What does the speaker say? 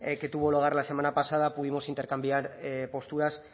que tuvo lugar la semana pasada pudimos intercambiar posturas